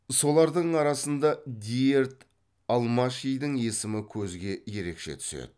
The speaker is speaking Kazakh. солардың арасында диерд алмашидің есімі көзге ерекше түседі